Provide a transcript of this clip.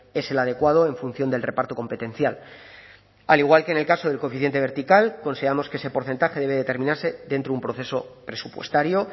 es el adecuado en función del reparto competencial al igual que en el caso del coeficiente vertical consideramos que ese porcentaje debe determinarse dentro de un proceso presupuestario